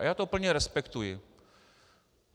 A já to plně respektuji.